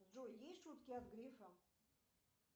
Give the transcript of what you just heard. джой есть шутки от грефа